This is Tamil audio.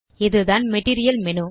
இதுதான் மெட்டீரியல் மேனு